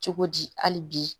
Cogodi hali bi